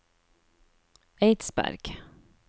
Eidsberg